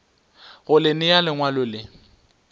go le nea lengwalo le